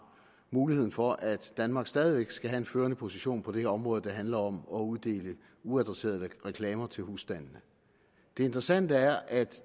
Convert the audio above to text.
muligheden for at danmark stadig væk skal have en førende position på det her område der handler om at uddele uadresserede reklamer til husstandene det interessante er at